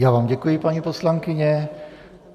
Já vám děkuji, paní poslankyně.